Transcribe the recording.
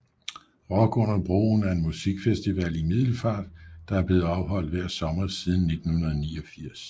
Rock under broen er en musikfestival i Middelfart der er blevet afholdt hver sommer siden 1989